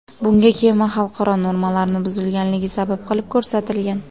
Bunga kema xalqaro normalarni buzganligi sabab qilib ko‘rsatilgan.